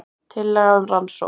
Tillaga um rannsókn